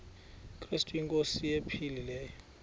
krestu inkosi ephilileyo